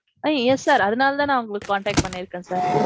ம்ம் yes sir. அதனால தான் நான் உங்கள contact பண்ணி இருக்கேன் sir.